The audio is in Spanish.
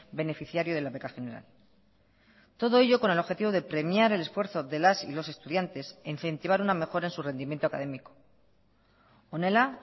beneficiario de la beca general todo ello con el objetivo de premiar el esfuerzo de las y los estudiantes e incentivar una mejora en su rendimiento académico honela